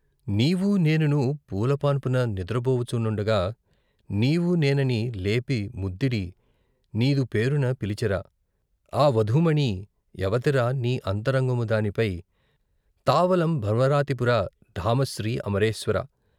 నీవు నేనును పూలపాన్పున నిదురబోవుచునుండగా నీవు నేనని, లేపి ముద్దిడి, నీదు పేరున పిలిచెరా ఆ వధూమణి ఎవతిరా నీ అంతరంగము దానిపై తావలం భవ రాతిపుర ధామ శ్రీ అమరేశ్వర.